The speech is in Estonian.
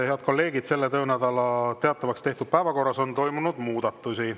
Head kolleegid, selle töönädala teatavaks tehtud päevakorras on toimunud muudatusi.